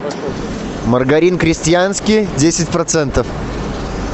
маргарин крестьянский десять процентов